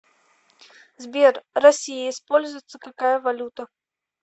сбер россия используется какая валюта